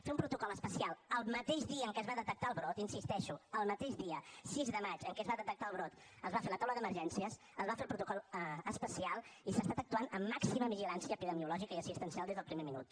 fer un protocol especial el mateix dia en què es va detectar el brot hi insisteixo el mateix dia sis de maig en què es va detectar el brot es va fer la taula d’emergències es va fer el protocol especial i s’ha estat actuant amb màxima vigilància epidemiològica i assistencial des del primer minut